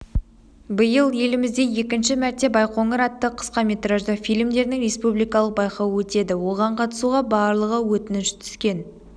биыл елімізде екінші мәрте байқоңыр атты қысқаметражды фильмдердің республикалық байқауы өтеді оған қатысуға барлығы өтініш түскен